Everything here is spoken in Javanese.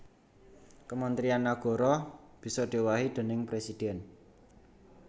Kementrian nagara bisa diowahi déning presidhèn